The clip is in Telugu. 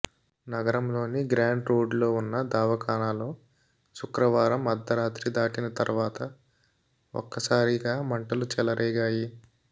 నగరంలోని గ్రాంట్ రోడ్లో ఉన్న దవాఖానలో శుక్రవారం అర్థరాత్రి దాటిన తర్వాత ఒక్కసారిగా మంటలు చెలరేగాయి